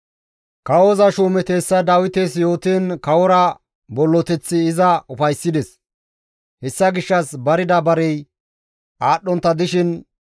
Kawoza shuumeti hessa Dawites yootiin kawora bolloteththi iza ufayssides. Hessa gishshas barida barey aadhdhontta dishin,